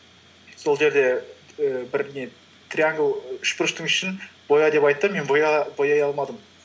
сол жерде ііі бір не триангл і үшбұрыштың ішін боя деп айтты мен бояй алмадым